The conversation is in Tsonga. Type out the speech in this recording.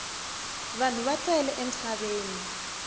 vanhu va tele emisaveni